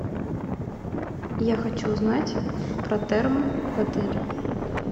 я хочу узнать про термо в отеле